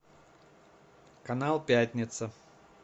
канал пятница